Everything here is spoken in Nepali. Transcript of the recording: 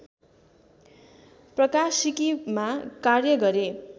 प्रकाशिकीमा कार्य गरे